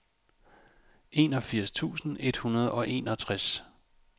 enogfirs tusind et hundrede og enogtres